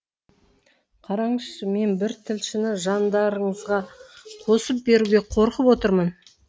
қараңызшы мен бір тілшіні жандарыңызға қосып беруге қорқып отырмын